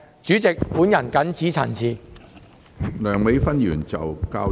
主席，本人謹此陳辭。